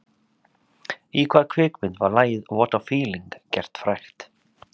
"Í hvaða kvikmynd var lagið ""What a feeling"" gert frægt?"